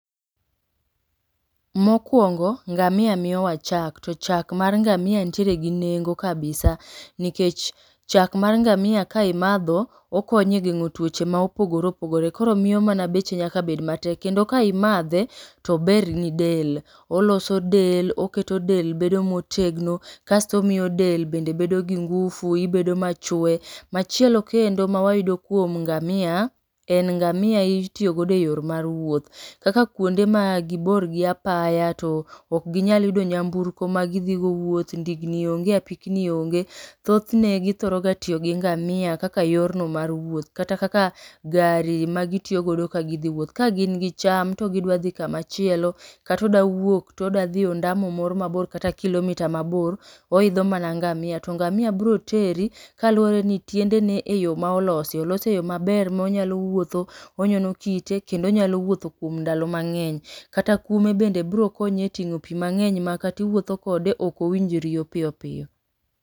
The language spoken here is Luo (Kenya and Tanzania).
Mokwongo ngamia miyowa chak, to chak mar ngamia nitiere gi nengo kabisa. Nikech chak mar ngamia ka imadho, okonyo e geng'o tuoche ma opogore opogore. Koro miyo mana beche nyaka bed ma tek. Kendo ka imadhe, tober ni del. Oloso del, oketo del bedo motegno, kasto omiyo del bende bedo gi ngufu ibedo ma chwe. Machielo kendo ma wayudo kuom ngamia, en ngamia itiyo godo e yor mar wuoth. Kaka kuonde ma gibor gi apaya to ok ginyal yudo nyamburko ma gidhi godo wuoth. Ndigni onge, apikni onge, thothne githoro ga tiyo gi ngamia kaka yorno mar wuoth. Kata kaka gari ma gitiyogodo kagidhi wuoth. Ka gin gi cham to gidwa dhi kamachielo, katoda wuok todadhi ondamo moro mabor kata kilomita moro mabor, oidho mana ngamia. To ngamia biro teri kaluwore ni tiendene e yo ma olosi. Olose e yo maber monyalo wuotho onyono kite, kendo onyalo wuotho kuom ndalo mang'eny. Kata kuome bende biro konyi e ting'o pi mang'eny ma katiwuotho kode, okowinj riyo piyo piyo.